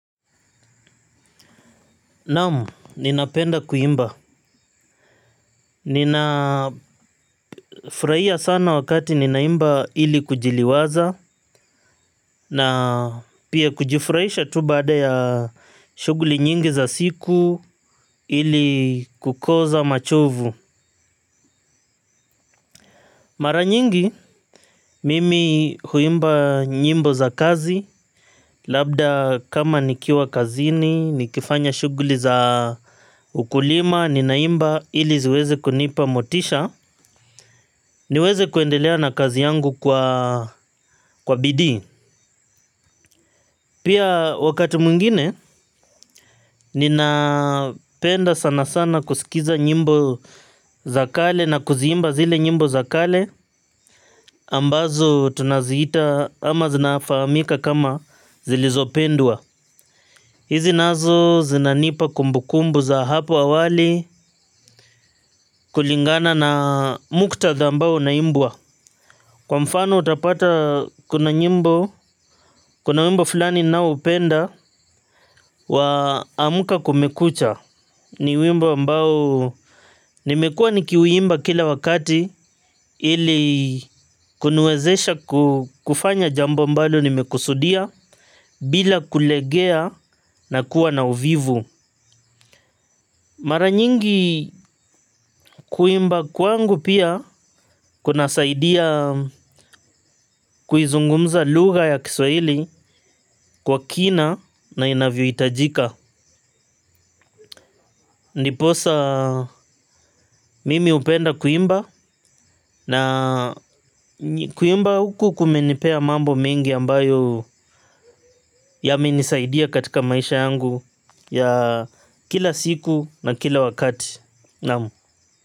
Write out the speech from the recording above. Naam, ninapenda kuimba. Ninafurahia sana wakati ninaimba ili kujiliwaza, na pia kujifurahisha tu baada ya shughuli nyingi za siku, ili kukoza machovu. Mara nyingi, mimi huimba nyimbo za kazi. Labda kama nikiwa kazini, nikifanya shughuli za ukulima, nina imba ili ziweze kunipa motisha. Niweze kuendelea na kazi yangu kwa bidii. Pia wakati mwingine, ninapenda sana sana kusikiza nyimbo za kale, na kuziimba zile nyimbo za kale ambazo tunaziita, ama zinafamika kama zilizopendwa. Hizi nazo zinanipa kumbukumbu za hapo awali, kulingana na muktadha ambao unaimbwa. Kwa mfano, utapata kuna nyimbo--, kuna wimbo fulani ninaoupenda wa amka kumekucha. Ni wimbo ambao, nimekuwa nikiuimba kila wakati ili kuniwezesha kufanya jambo ambalo nimekusudia, bila kulegea na kuwa na uvivu. Mara nyingi kuimba kwangu pia kuna saidia kuizungumza lugha ya Kiswaili, kwa kina na inavyoitajika. Niposa mimi upenda kuimba na kuimba huku kumenipea mambo mingi ambayo yamenisaidia katika maisha yangu ya kila siku na kila wakati. Naam.